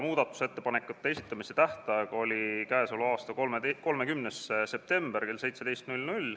Muudatusettepanekute esitamise tähtaeg oli k.a 30. septembril kell 17.